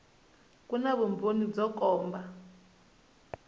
ku na vumbhoni byo komba